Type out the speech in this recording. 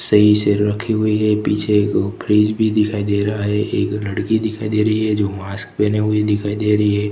सही से रखी हुई है पीछे को फ्रिज भी दिखाई दे रहा है एक लड़की दिखाई दे रही है जो मास्क पहने हुए दिखाई दे रही है।